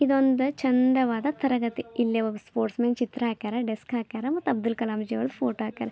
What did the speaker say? ಇದೊಂದು ಚೆಂದವಾದ ತರಗತಿ ಇಲ್ಲೆ ಒಬ್ ಸ್ಪೋರ್ಟ್ಸ್ ಮ್ಯಾನ್ ಚಿತ್ರ ಹಾಕ್ಯಾರ ಡೆಸ್ಕ್ ಹಾಕ್ಯಾರ ಮತ್ತು ಅಬ್ದುಲ್ ಕಲಾಂಜಿ ಅವ್ರ ಫೋಟೋ ಹಾಕ್ಯಾರ .